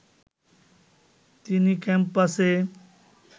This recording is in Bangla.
তিনি ক্যাম্পাসে